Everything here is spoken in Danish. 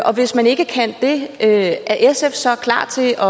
og hvis man ikke kan det er sf så klar til at